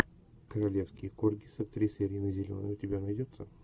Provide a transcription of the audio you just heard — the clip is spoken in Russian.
королевский корги с актрисой риной зеленой у тебя найдется